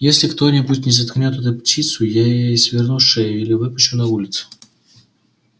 если кто-нибудь не заткнёт эту птицу я ей сверну шею или выпущу на улицу